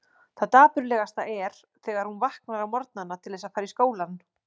Það dapurlegasta er þegar hún vaknar á morgnana til þess að fara í skólann.